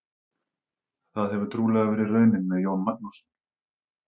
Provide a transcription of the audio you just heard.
Það hefur trúlega verið raunin með Jón Magnússon.